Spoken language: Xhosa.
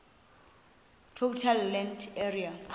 total land area